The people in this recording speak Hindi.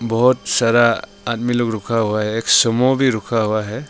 बहुत सारा आदमी लोग रुका हुआ है एक सूमो भी रुका हुआ है।